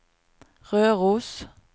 Røros